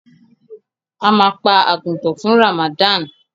Ama pa àgùtàn fún Ramadan.